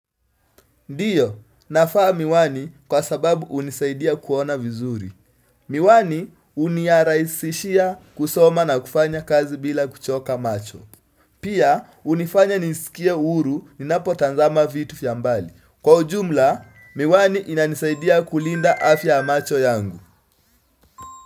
Ndio nafaa miwani kwa sababu unisaidia kuona vizuri. Miwani uniaraisishia kusoma na kufanya kazi bila kuchoka macho. Pia unifanya nisikie uru ninapotanzama vitu fia mbali. Kwa ujumla miwani inanisaidia kulinda afya ya macho yangu.